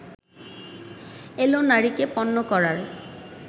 এলো নারীকে পণ্য করার